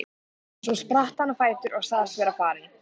Svo spratt hann á fætur og sagðist vera farinn.